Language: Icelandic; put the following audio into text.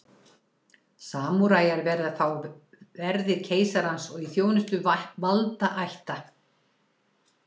samúræjar voru þá verðir keisarans og í þjónustu valdaætta